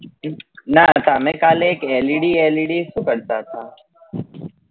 ના તમે કાલે એક LED LED શું કરતા હતા?